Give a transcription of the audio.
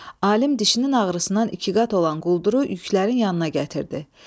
Alim dişinin ağrısından iki qat olan qulduru yüklərin yanına gətirdi.